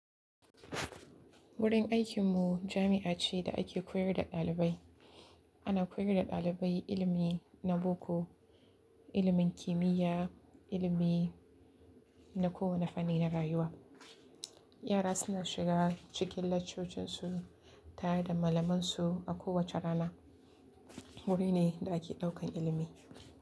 Wurin aikinmu jami'a ce da ake koyar da ɗalibai. Ana koyar da ɗalibai ilimi na boko, ilimin kimiyya, ilimi na kowane fanni na rayuwa. Yara suna shiga cikin laccocinsu tare da malamansu a kowace rana. Wuri ne da ake ɗaukan ilimi.